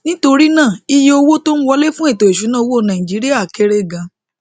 nítorí náà iye owó tó ń wọlé fún ètò ìṣúnná owó nàìjíríà kéré gan